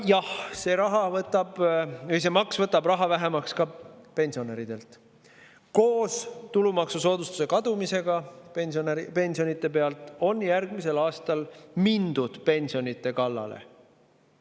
Jah, see maks võtab raha vähemaks ka pensionäridelt, koos pensionide tulumaksusoodustuse kaotamisega minnakse järgmisel aastal pensionide kallale.